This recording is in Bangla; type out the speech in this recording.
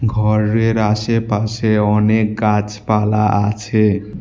ঘরের আশেপাশে অনেক গাছপালা আছে।